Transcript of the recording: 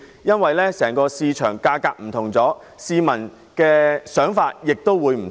由於整體樓宇價格已有不同，市民的想法亦會不同。